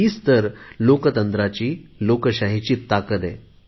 हीच तर लोकशाहीची ताकद आहे